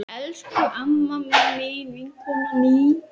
Elsku amma mín, vinkona mín.